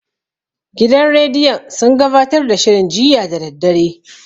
Gidan rediyon sun gabatar da shirin jiya da daddare.